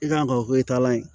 I kan ka ka o ye taalan ye